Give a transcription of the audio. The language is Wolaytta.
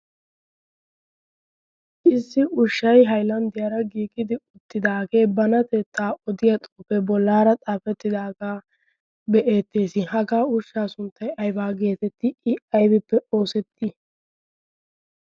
issi ushshay hailanddiyaara giigidi uttidaagee bana tettaa odiya xoufee bollaara xaafettidaagaa be'ettees hagaa urshshaa sunttai aibaa geetetti i aibippe oosettii?